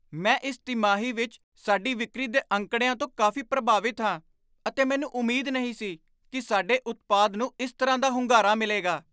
ਮੈਂ ਇਸ ਤਿਮਾਹੀ ਵਿੱਚ ਸਾਡੀ ਵਿਕਰੀ ਦੇ ਅੰਕੜਿਆਂ ਤੋਂ ਕਾਫ਼ੀ ਪ੍ਰਭਾਵਿਤ ਹਾਂ ਅਤੇ ਮੈਨੂੰ ਉਮਾਦ ਨਹੀਂ ਸੀ ਕਿ ਸਾਡੇ ਉਤਪਾਦ ਨੂੰ ਇਸ ਤਰ੍ਹਾਂ ਦਾ ਹੁੰਗਾਰਾ ਮਿਲੇਗਾ।